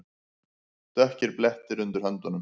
Dökkir blettir undir höndunum.